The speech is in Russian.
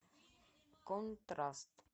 контраст